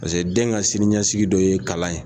Paseke den ka siniɲasigi dɔ ye kalan ye.